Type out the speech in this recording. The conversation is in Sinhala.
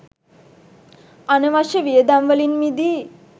අනවශ්‍ය වියදම් වලින් මිදී